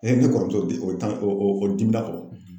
ne kɔrɔmuso o o dimi na kɔrɔ